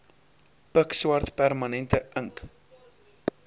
pikswart permanente ink